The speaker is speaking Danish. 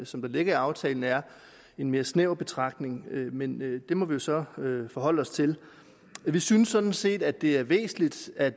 som ligger i aftalen er en mere snæver betragtning men det må vi så forholde os til vi synes sådan set at det er væsentligt at